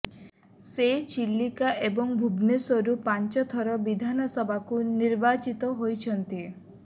ସେ ଚିଲିକା ଏବଂ ଭୁବନେଶ୍ୱରରୁ ପାଞ୍ଚ ଥର ବିଧାନସଭାକୁ ନିର୍ବାଚିତ ହୋଇଛନ୍ତି